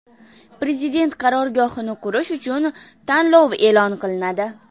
Prezident qarorgohini qurish uchun tanlov e’lon qilinadi.